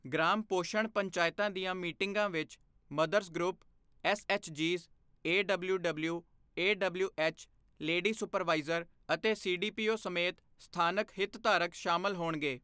Gram ਪੋਸ਼ਣ ਪੰਚਾਇਤਾਂ ਦੀਆਂ ਮੀਟਿੰਗਾਂ ਵਿੱਚ ਮਦਰਜ਼ ਗਰੁੱਪ, ਐੱਸਐੱਚਜੀਜ਼, ਏਡਬਲਿਊਡਬਲਿਊ, ਏਡਬਲਿਊਐੱਚ, ਲੇਡੀ ਸੁਪਰਵਾਈਜ਼ਰ ਅਤੇ ਸੀਡੀਪੀਓ ਸਮੇਤ ਸਥਾਨਕ ਹਿਤਧਾਰਕ ਸ਼ਾਮਲ ਹੋਣਗੇ।